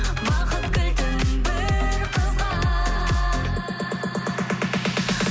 бақыт кілтін бір қызға